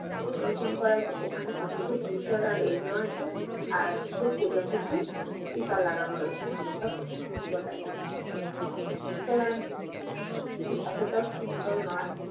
vission করা হয়েছে, ওখানে অনেকটা gluter আর দেওয়া আছে। আর দুটো প্রজাপতি sticker লাগানো রয়েছে। আর সেটা খুবই সুন্দর লাগছে দেখতে। সুতরাং কিন্তু এতটাও simple নয়।